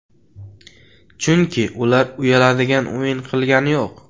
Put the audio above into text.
Chunki ular uyaladigan o‘yin qilgani yo‘q.